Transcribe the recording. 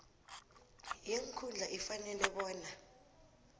yeenkhundla ifanele bona